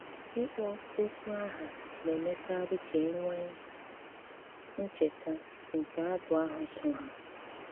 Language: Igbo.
Íkpọ́ okwu áhá ná-émékarí ká é nwéé ncheta nké abụ áhụ́ só há.